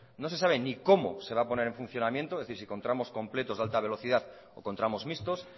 no se sabe ni cómo se va a poner en funcionamiento es decir si con tramos completos de alta velocidad o con tramos mixtos